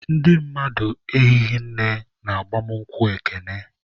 Ndị mmadụ ehighị nne na ịgba nkwụ Ekene.